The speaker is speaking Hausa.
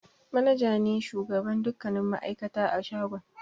Manaja ne shugaban dukkanin ma'aikata a shagon.